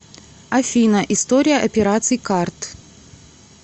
афина история операций карт